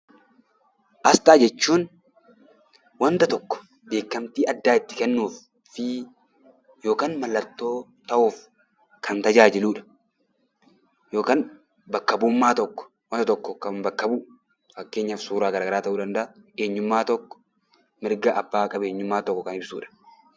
Asxaa jechuun wanta tokko beekkamtii addaa itti kennuu yookiin mallattoo ta'uuf kan tajaajiludha. Yookiin bakka bu'ummaa tokko kan bakka bu'u fakkeenyaaf suurawwan garagaraa ta'uu danda'a.